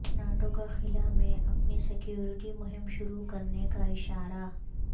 NATO کا خلا میں اپنی سیکورٹی مہم شروع کرنے کااشارہ